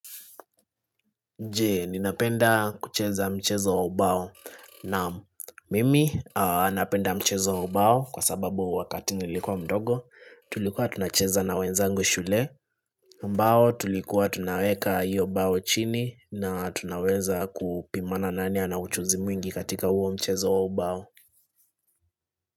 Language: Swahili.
Je, ninapenda kucheza mchezo wa ubao naam mimi napenda mchezo wa ubao kwa sababu wakati nilikuwa mdogo, tulikuwa tunacheza na wenzangu shule, ambao tulikuwa tunaweka hiyo bao chini na tunaweza kupimana nani ana ujuzi mwingi katika huo mchezo wa ubao.